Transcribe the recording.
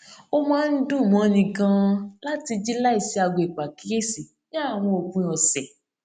ó máa ń dùn móni ganan láti jí láìsí aago ìpàkíyèsí ní àwọn òpin òsè